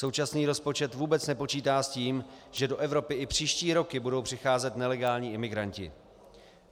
Současný rozpočet vůbec nepočítá s tím, že do Evropy i příští roky budou přicházet nelegální imigranti.